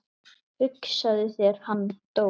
Hugsaðu þér, hann dó.